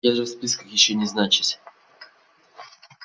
я же в списках ещё не значусь